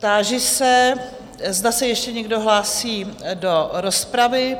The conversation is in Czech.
Táži se, zda se ještě nikdo hlásí do rozpravy?